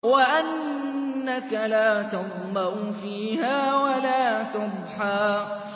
وَأَنَّكَ لَا تَظْمَأُ فِيهَا وَلَا تَضْحَىٰ